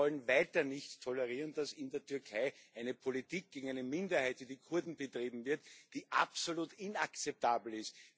Wir wollen weiter nicht tolerieren, dass in der Türkei eine Politik gegen eine Minderheit, die Kurden, betrieben wird, die absolut inakzeptabel ist.